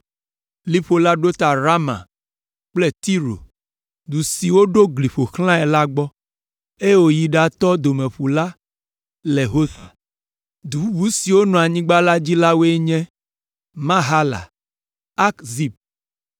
Liƒo la ɖo ta Rama kple Tiro, du si woɖo gli ƒo xlã la gbɔ, eye wòyi ɖatɔ Domeƒu la le Hosa. Du bubu siwo le anyigba la dzi la woe nye Mahala, Akzib,